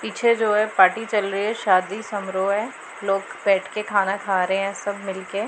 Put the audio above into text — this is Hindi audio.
पीछे जो है पार्टी चल रही है शादी समरोह है लोग बैठके खाना खा रहे हैं सब मिलके।